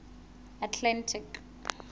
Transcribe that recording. atlantic